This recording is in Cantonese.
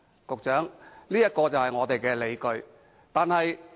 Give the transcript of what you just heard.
局長，這是我們的理據。